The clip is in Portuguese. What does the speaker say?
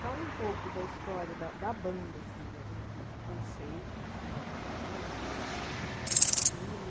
Fala um pouco da história da da banda, assim, da do do do conceito, sei lá, das músicas, do do estilo